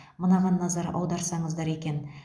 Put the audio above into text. мынаған назар аударсаңыздар екен